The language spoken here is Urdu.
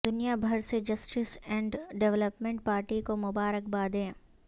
دنیا بھر سے جسٹس اینڈ ڈویلپمنٹ پارٹی کو مبارکبادیں